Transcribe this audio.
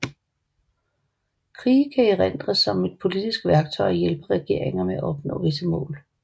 Krige kan erindres som et politisk værktøj og hjælpe regeringer med at opnå visse mål